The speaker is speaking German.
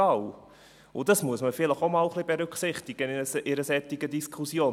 Und das muss man vielleicht auch einmal ein wenig berücksichtigen in einer solchen Diskussion.